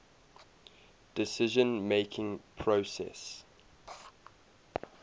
decision making process